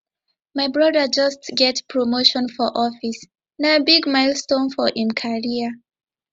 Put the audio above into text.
my broda just get promotion for office na big milestone for im career